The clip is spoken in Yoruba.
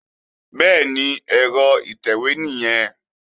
Bẹ́ẹ̀ni, ẹ̀rọ ìtẹ̀wé nìyẹn